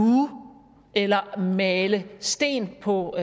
eller male sten på